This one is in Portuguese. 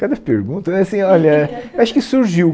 Cada pergunta é assim, olha, acho que surgiu.